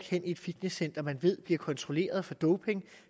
hen i et fitnesscenter som man ved bliver kontrolleret for doping